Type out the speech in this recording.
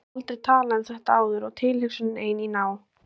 Ég hef aldrei talað um þetta áður og tilhugsunin ein, í ná